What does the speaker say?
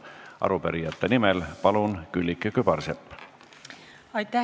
Arupärijate nimel, palun, Külliki Kübarsepp!